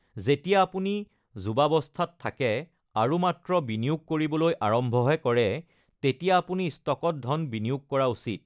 যেতিয়া আপুনি যুৱাৱস্থাত থাকে আৰু মাত্ৰ বিনিয়োগ কৰিবলৈ আৰম্ভহে কৰে, তেতিয়া আপুনি ষ্টকত ধন বিনিয়োগ কৰা উচিত।